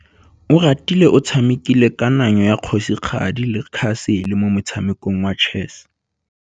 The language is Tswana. Oratile o tshamekile kananyô ya kgosigadi le khasêlê mo motshamekong wa chess.